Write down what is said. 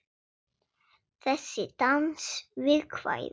Þessi dans við kvæði.